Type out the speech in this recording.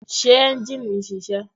Ṣé ẹ́njìnì ń ṣiṣẹ́?